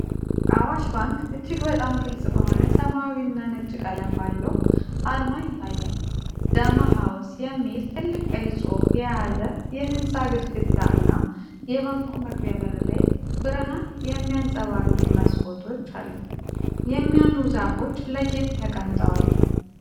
አዋሽ ባንክ እጅግ በጣም ግልጽ በሆነ ሰማያዊ እና ነጭ ቀለም ባለው አርማ ይታያል። “ዳማ ሃውስ” የሚል ትልቅ ቀይ ጽሑፍ የያዘ የህንጻ ግድግዳ እና የባንኩ መግቢያ በር ላይ ብርሃን የሚያንፀባርቁ መስኮቶች አሉ። የሚያምሩ ዛፎች ለጌጥ ተቀምጠዋል።